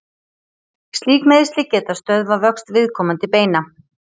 Slík meiðsli geta stöðvað vöxt viðkomandi beina.